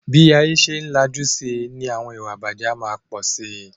Bí ayé bá ṣe ń lajú síi ni àwọn ìwà ìbàjé a máa pọ̀ sí.